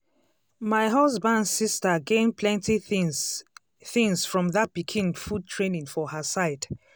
my husband sister gain plenty things things from that pikin food training for her side.